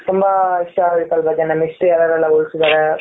ತುಂಬಾ ವಿಷಯ ಎಲ್ಲಾ ನಮ್ಮ history ಯಾರೆಲ್ಲಾ ಉಳಿಸಿದ್ದಾರೆ.